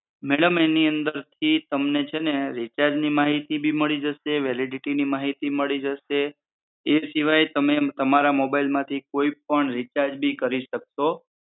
Madam એની અંદર થી તમને છેને રિચાર્જની માહિતી બી મળી જશે, વેલિડિટીની માહિતી મળી જશે, એ શિવાય તમે તમારા મોબાઇલમાંથી કોઈ પણ ઇરચાર્જ બી કરી શકશો.